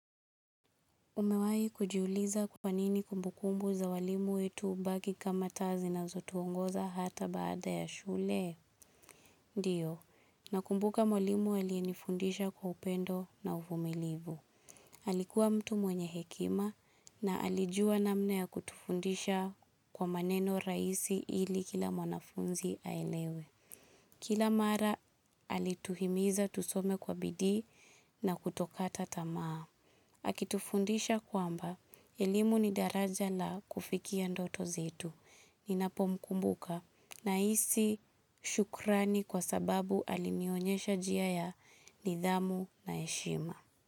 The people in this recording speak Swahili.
Umewahi kujiuliza kwanini kumbukumbu za walimu wetu hubaki kama taa zinazotuongoza hata baada ya shule? Ndio, na kumbuka walimu aliyenifundisha kwa upendo na uvumilivu. Alikuwa mtu mwenye hekima na alijua namna ya kutufundisha kwa maneno rahisi ili kila mwanafunzi aelewe. Kila mara, alituhimiza tusome kwa bidi na kutokata tamaa. Akitufundisha kwamba, elimu ni daraja la kufikia ndoto zetu. Ninapomkumbuka nahisi shukrani kwa sababu alinionyesha njia ya nidhamu na heshima.